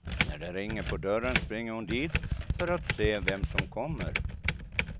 När det ringer på dörren springer hon dit för att se vem som kommer.